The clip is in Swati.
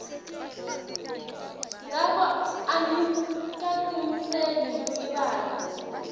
ngako angikatimiseli kulibala